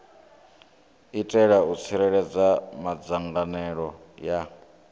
itela u tsireledza madzangalelo a